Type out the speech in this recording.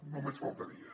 només faltaria